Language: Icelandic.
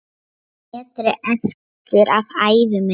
metri eftir af ævi minni.